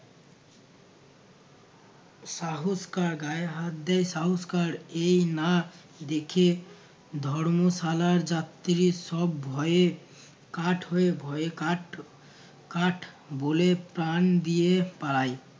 সাহস কার গায়ে হাত দেয় সাহস কার এই না দেখে ধর্মশালার যাত্রী সব ভয়ে কাঠ হয়ে ভয়ে কাঠ কাঠ বলে প্রাণ দিয়ে পায়